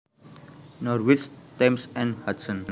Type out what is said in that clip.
Norwich Thames and Hudson